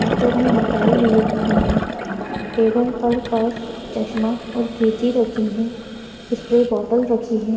हाथो में मोबाइल लिए हुए हैं। टेबल पर पर्स चश्मा और कैंची रखी हैं। स्प्रे बॉटल रखी हैं।